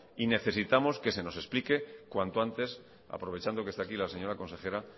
y necesitamos que se nos explique cuanto antes aprovechando que está aquí la señora consejera